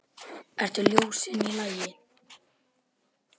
Eru ljósin í lagi?